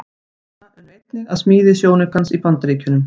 Starfsmenn ESA unnu einnig að smíði sjónaukans í Bandaríkjunum.